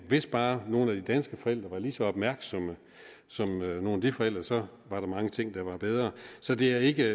hvis bare nogle af de danske forældre var lige så opmærksomme som nogle af de forældre så var der mange ting der var bedre så det er ikke